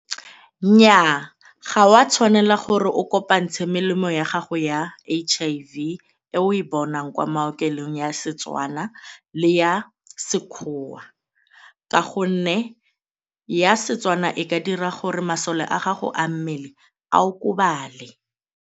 Nnyaa ga o a tshwanela gore o kopantshe melemo ya gago ya H_I_V le e o e bonang kwa maokelong ya Setswana le ya Sekgowa ka gonne ya Setswana e ka dira gore masole a gago a mmele a okobale.